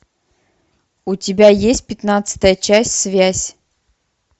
у тебя есть пятнадцатая часть связь